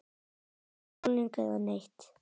Ekki málning eða neitt.